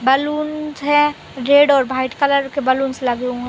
Balloons है red और white colour के बलूंस लगे हुए हैं।